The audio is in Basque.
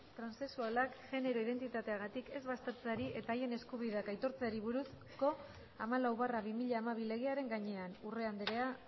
transexualak genero identitateagatik ez baztertzeari eta haien eskubideak aitortzeari buruzko hamalau barra bi mila hamabi legearen gainean urrea andrea